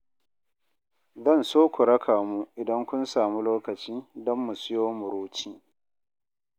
Zan so ku raka mu idan kun samu lokaci don mu sayo muruci.